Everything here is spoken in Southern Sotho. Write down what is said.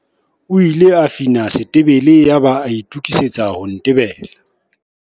O ile a fina setebele yaba a itokisetsa ho ntebela.